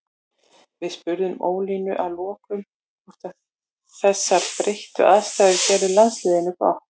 Við spurðum Ólínu að lokum hvort að þessar breyttu aðstæður gerðu landsliðinu gott.